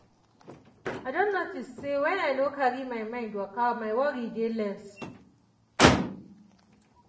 i don notice say when i no carry my mind waka my worry dey less.